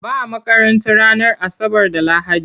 Ba a makaranta ranar Asabar da Lahadi.